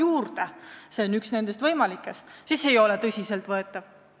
Kui see teema on üks nendest võimalikest, siis see ei ole tõsiselt võetav.